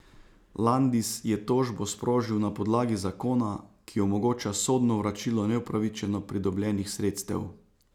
Landis je tožbo sprožil na podlagi zakona, ki omogoča sodno vračilo neupravičeno pridobljenih sredstev.